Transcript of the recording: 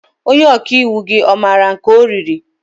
Onye ọkàiwu gị ọ maara nke ọ riri?